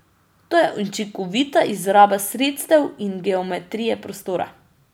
To je učinkovita izraba sredstev in geometrije prostora.